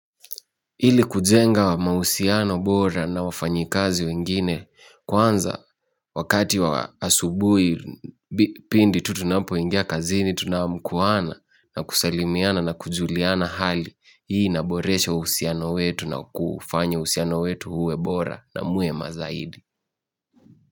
Ili kujenga wa mausiano bora na wafanyikazi wengine kwanza wakati wa asubui pindi tutunapoingia kazini tunamkuana na kusalimiana na kujuliana hali hii inaboresha usiano wetu na kufanya usiano wetu huwe bora na mwema zaidi.